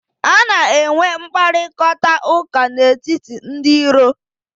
A na-enwe mkparịkọtaụka n'etiti ndị iro.